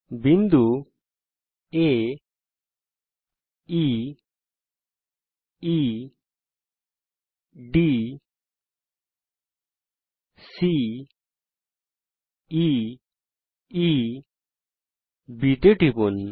বিন্দু আ E E D C E E B এর উপর টিপুন